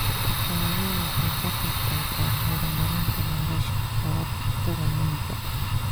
Xooluhu waxay ka qaybqaataan horumarinta nolosha xoola-dhaqatada miyiga.